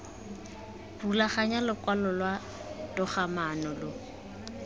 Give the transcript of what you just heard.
rulaganya lokwalo lwa togamaano lo